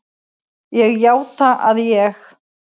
Ég játa að ég